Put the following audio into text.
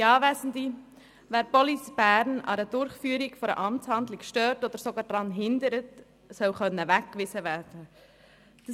Wer Police Bern bei der Durchführung einer Amtshandlung stört oder sie sogar daran hindert, soll weggewiesen werden können.